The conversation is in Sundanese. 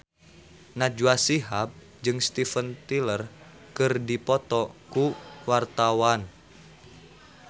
Najwa Shihab jeung Steven Tyler keur dipoto ku wartawan